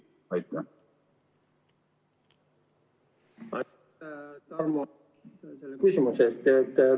Aitäh, Tarmo, küsimuse eest!